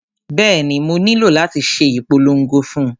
Bẹ́ẹ̀ni, mo nílò láti ṣe ìpolongo fún un